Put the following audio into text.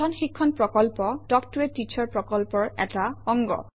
কথন শিক্ষণ প্ৰকল্প তাল্ক ত a টিচাৰ প্ৰকল্পৰ এটা অংগ